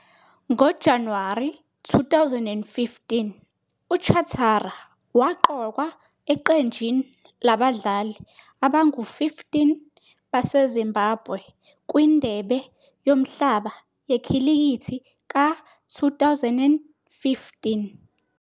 NgoJanuwari 2015, uChatara waqokwa eqenjini labadlali abangu-15 baseZimbabwe kwiNdebe Yomhlaba Yekhilikithi ka-2015.